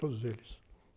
Todos eles.